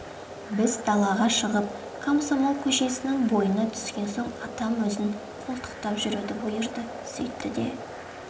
біз далаға шығып комсомол көшесінің бойына түскен соң атам өзін қолтықтап жүруді бұйырды сөйтті де